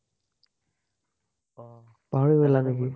পাহৰি গলা নেকি?